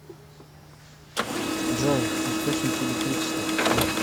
джой источники электричество